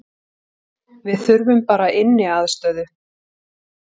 Við þurfum bara inniaðstöðu